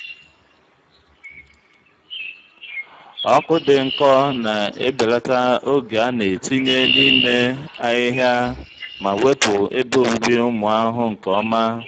ọkụ dị nkọ na-ebelata oge a na-etinye n'ime ahihia ma wepụ ebe obibi ụmụ ahụhụ nke ọma.